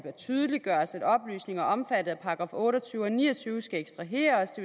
tydeliggøres at oplysninger omfattet af § otte og tyve og § ni og tyve skal ekstraheres